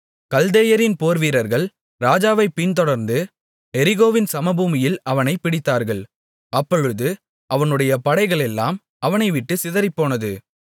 கல்தேயரின் போர்வீரர்கள் ராஜாவைப் பின்தொடர்ந்து எரிகோவின் சமபூமியில் அவனைப் பிடித்தார்கள் அப்பொழுது அவனுடைய படைகளெல்லாம் அவனைவிட்டுச் சிதறிப்போனது